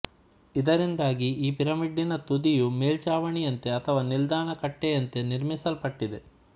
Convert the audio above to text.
ಇದರಿಂದಾಗಿ ಈ ಪಿರಮಿಡ್ಡಿನ ತುದಿಯು ಮೇಲ್ಚಾವಣಿಯಂತೆ ಅಥವಾ ನಿಲ್ದಾಣ ಕಟ್ಟೆಯಂತೆ ನಿರ್ಮಿಸಲ್ಪಟ್ಟಿದೆ